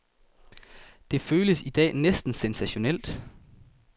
Det føles i dag næsten sensationelt.